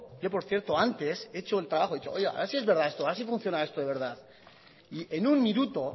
yo por cierto antes he hecho el trabajo y he dicho a ver si es verdad esto a ver si funciona esto de verdad y en un minuto